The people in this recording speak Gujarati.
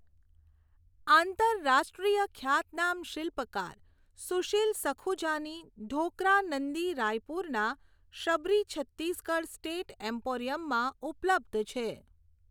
આંતરરાષ્ટ્રીય ખ્યાતનામ શિલ્પકાર સુશિલ સખુજાની ઢોક્રા નંદી રાયપુરના શબરી છત્તીસગઢ સ્ટેટ એમ્પોરિયમમાં ઉપલબ્ધ છે.